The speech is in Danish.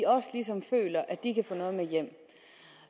også ligesom føler at de kan få noget med hjem